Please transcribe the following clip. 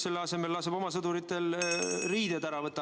Selle asemel laseme oma sõduritel ametiriided ära võtta.